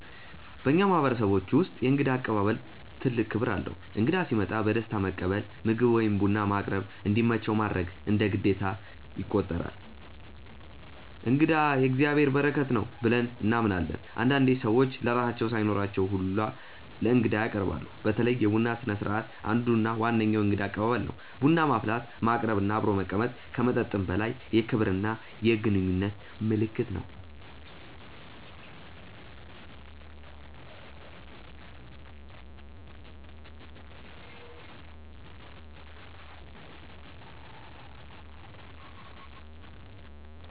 በእኛ ማህበረሰቦች ውስጥ የእንግዳ አቀባበል ትልቅ ክብር አለው። እንግዳ ሲመጣ በደስታ መቀበል፣ ምግብ ወይም ቡና ማቅረብ፣ እንዲመቸው ማድረግ እንደ ግዴታ ይቆጠራል። “እንግዳ የእግዚአብሔር በረከት ነው” ብለን እናምናለን። አንዳንዴ ሰዎች ለራሳቸው ሳይኖራቸው ሁላ ለእንግዳ ያቀርባሉ። በተለይ የቡና ስነስርዓት አንዱ እና ዋነኛው የእንግዳ አቀባበል ነው። ቡና ማፍላት፣ ማቅረብ እና አብሮ መቀመጥ ከመጠጥም በላይ የክብርና የግንኙነት ምልክት ነው።